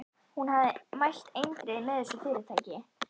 Hún hafði mælt eindregið með þessu fyrirtæki.